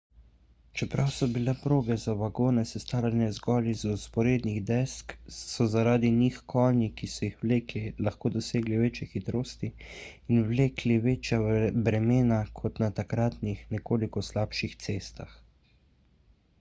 čeprav so bile proge za vagone sestavljene zgolj iz vzporednih desk so zaradi njih konji ki so jih vlekli lahko dosegli večje hitrosti in vlekli večja bremena kot na takratnih nekoliko slabših cestah